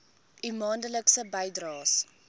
u maandelikse bydraes